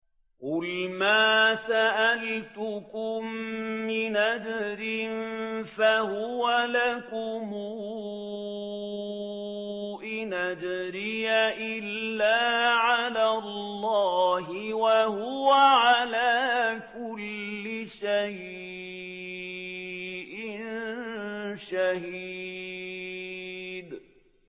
قُلْ مَا سَأَلْتُكُم مِّنْ أَجْرٍ فَهُوَ لَكُمْ ۖ إِنْ أَجْرِيَ إِلَّا عَلَى اللَّهِ ۖ وَهُوَ عَلَىٰ كُلِّ شَيْءٍ شَهِيدٌ